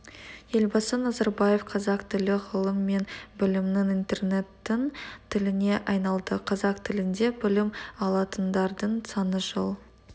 елбасы назарбаев қазақ тілі ғылым мен білімнің интернеттің тіліне айналды қазақ тілінде білім алатындардың саны жыл